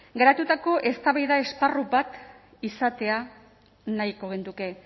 garatutako eztabaida esparru bat izatea nahiko genuke